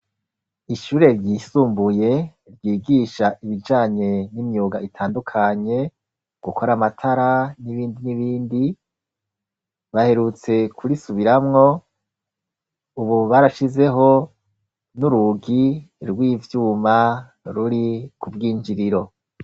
Ishure ryisumbuye ryigisha ibijanye n'imyuga itandukanye gukora amatara, n'ibindi n'ibindi baherutse kurisubiramwo ubu barashizeho n'urugi rw'ivyuma ruri ku bw'injiriro.